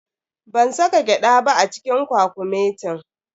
Ban saka gyada ba a cikin kwakumetin.